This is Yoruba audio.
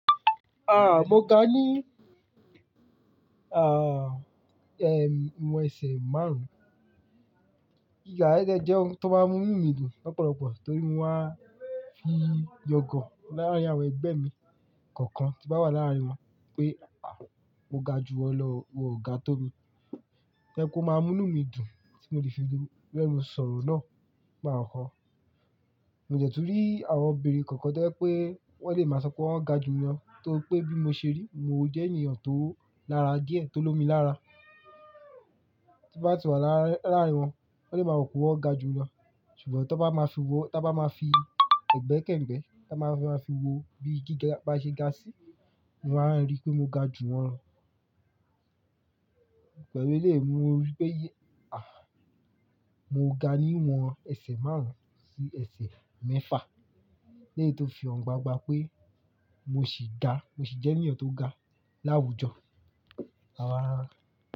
Ah, mo ga ní, ah, ẹ, ìwọ̀n ẹsẹ̀ márùn-ún. Gíga yẹ̀n de jẹ́ ohun tó máa ń mú ínu mi dùn lọ́pọ̀lọpọ̀ torí mo máa ń fi yangan láàrín àwọn ẹgbẹ́ mi kọ̀ọ̀kan tí n bá wà láàrín wọn pé, mo ga ju wọn lọ o, won ga tó mi. Ẹkú máa mú mí dùn tí mo le fi rẹ́nù sọ̀rọ̀ náà lakọkọ. Mo dẹ tun rí àwọn obìnrin kọ̀ọ̀kan tó jẹ́ pé wọn lè máa sọ pé wọ́n ga ju mi lọ torí pé bí mo ṣe rí, mo jẹ́ ènìyàn tó lára díẹ̀, tó lómi lára. Tí bá ti wà láàárín wọn, wọ́n lè máa rò pé wọ́n ga ju mi lọ. Ṣùgbọ́n tí wọ́n bá máa fi wọ, tí a bá máa fi ẹ̀gbẹ́ kẹ̀gbẹ́, tí a bá máa fi wo bí gíga bá ṣe ga sí, wọn á rí pé mo ga ju wọn lọ. Pẹ̀lú eléyìí mo rí pé, ah, mo ga ní ìwọ̀n ẹsẹ̀ márùn-ún sí ẹsẹ̀ mẹ́fà. Eléyìí tó fi hàn gbangba pé mo ṣì ga, mo ṣì jẹ́ ènìyàn tó ga láwùjọ àa.